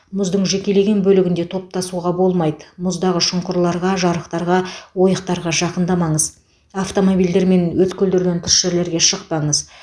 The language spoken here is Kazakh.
мұздың жекелеген бөлігінде топтасуға болмайды мұздағы шұңқырларға жарықтарға ойықтарға жақындамаңыз автомобильдермен өткелдерден тыс жерлерге шықпаңыз